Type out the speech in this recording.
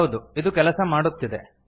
ಹೌದು ಇದು ಕೆಲಸ ಮಾಡುತ್ತಿದೆ